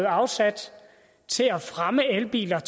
afsat til at fremme elbiler